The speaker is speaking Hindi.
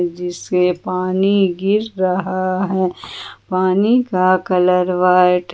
जिससे पानी गिर रहा है पानी का कलर व्हाइट --